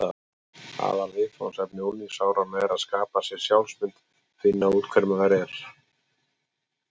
Aðalviðfangsefni unglingsáranna er að skapa sér sjálfsmynd: finna út hver maður er.